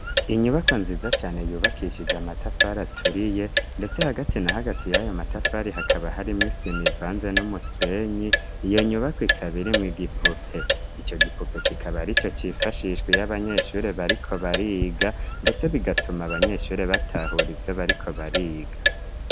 Inyubako nziza cane yubakishije amatafari aturiye, ndetse hagati na hagati yayo matafari hakaba harimwo isi mivanze n'umusenyi iyo nyubako ikabiri mw igipupe ico gipupe kikaba ari co cifashishwi y'abanyeshuri bariko bariga, ndetse bigatuma abanyeshuri batahura ivyo bariko bariga.